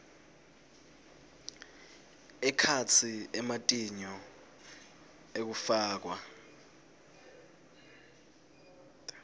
ekhatsi ematinyo ekufakwa